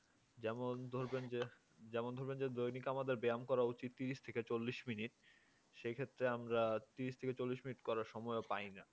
যেমন ধরবেন যে যেমন ধরবেন যে দৈনিক আমাদের ব্যায়াম করা উচিত ত্রিশ থেকে চল্লিশ মিনিট সেক্ষেত্রে আমরা ত্রিশ থেকে চল্লিস মিনিট করার সময়ও পাই না